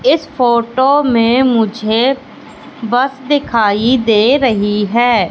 इस फोटो में मुझे बस दिखाई दे रही है।